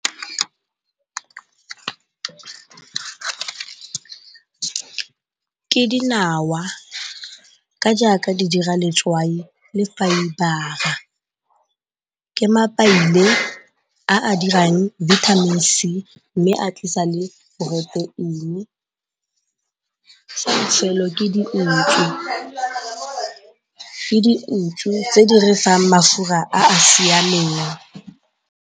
Ke dinawa ka jaaka di dira letswai le ke a a dirang vitamins mme a tlisa bofelo ke dinku tse di re fang mafura a a siameng.